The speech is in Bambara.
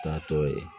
K'a tɔ ye